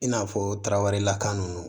I n'a fɔ tarawelelakan ninnu